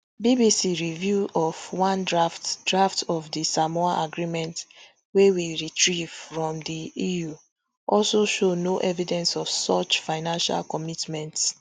bbc review of one draft draft of di samoa agreement wey we retrieve from di eu also show no evidence of such financial commitments